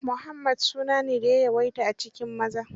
Muhammad su na ne da ya yawaita a cikin maza.